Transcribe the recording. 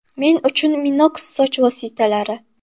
Men uchun Minox soch vositalari!